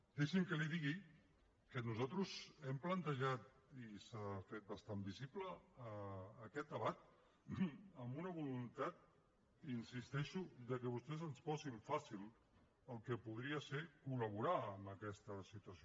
deixi’m que li digui que nosaltres hem plantejat i s’ha fet bastant visible aquest debat amb una voluntat hi insisteixo que vostès ens posin fàcil el que podria ser col·laborar amb aquesta situació